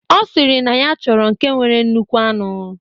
Ọ sịrị na ya chọrọ nke nwere nnukwu anụ.